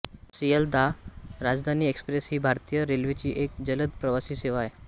Sealdah Rajdhani express ही भारतीय रेल्वेची एक जलद प्रवासी सेवा आहे